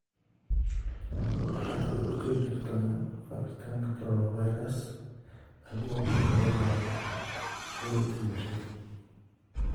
Waxaad ka hortagi kartaa faafitaanka coronavirus adigoo ku celcelinaya fogeynta bulshada.